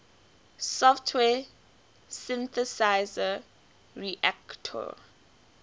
software synthesizer reaktor